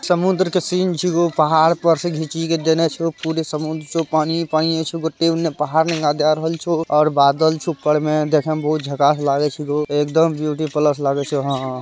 समुंद्र का सीन छिओ पहाड़ पर से खिचा गया छिओ । पूरे समुंद्र में पानी ही पानी छिओ । पहाड़ भी दिख छिओ और बादल ऊपर से देखने में झकास लग छिओ एक दम ब्यूटी प्लस लग छिओ । हा हा --